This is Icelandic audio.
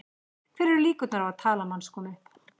Hverjar eru líkurnar á að talan manns komi upp?